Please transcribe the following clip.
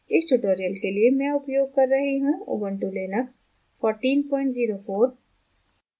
इस tutorial के लिए मैं उपयोग कर रही हूँ ubuntu linux 1404